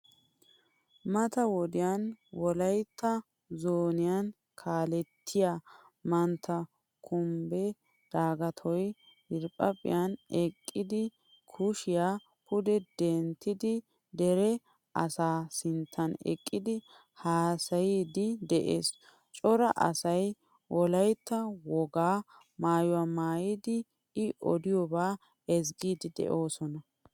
Mata wodiyan wolaytta zooniyaa kaalettida mantta kumbe dagatoy diriphphan eqqidi kushiyaa pude denttidi dere asa sinttan eqqidi haasayidi de'ees. Cora asay wolaytta wogaa maayuwaa maayidi i odiyoba ezzgidi deosona.